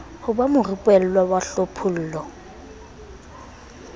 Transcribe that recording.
ho ba morupellwa wa hlophollo